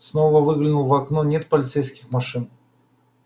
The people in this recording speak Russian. снова выглянул в окно нет полицейских машин